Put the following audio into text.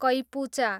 कैपुचा